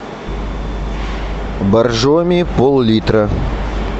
боржоми пол литра